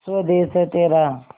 स्वदेस है तेरा